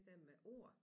Den med ord